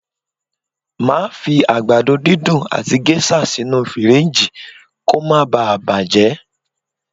Màá fi àgbàdo dídùn àti géṣà sínú fìríìjì kó ma baà bàjẹ́